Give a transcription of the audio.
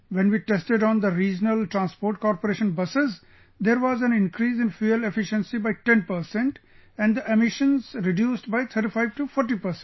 When we tested on the Regional Transport Corporation buses, there was an increase in fuel efficiency by 10 percent and the emissions reduced by 35 to 40 percent